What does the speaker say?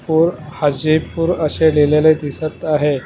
पूर हजीरपुर अशे लिहलेले दिसत आहे.